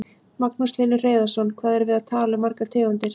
Magnús Hlynur Hreiðarsson: Hvað erum við að tala um margar tegundir?